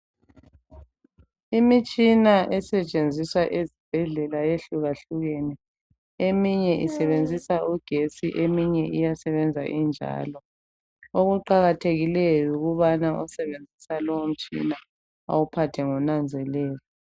Imitshina esetshenziswa ezibhedlela yehlukahlukene, eminye isebenzisa ugetsi, eminye iyasebenza injalo. Okuqakathekileyo yikubana osebenzisa lowo mtshina awuphathe ngonanzelelo.